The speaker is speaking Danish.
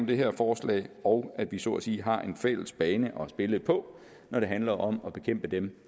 det her forslag og at vi så at sige har en fælles bane at spille på når det handler om at bekæmpe dem